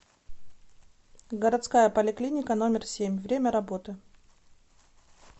городская поликлиника номер семь время работы